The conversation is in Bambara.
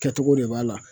Kɛcogo de b'a la